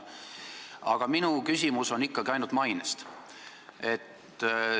Aga minu küsimus on ikkagi ainult maine kohta.